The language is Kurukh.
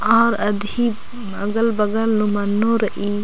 और अधि अगल बगल नू मन्नू रइई।